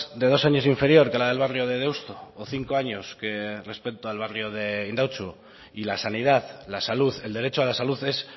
de dos años inferior que la del barrio de deusto o cinco años que respecto al barrio de indautxu y la sanidad la salud el derecho a la salud es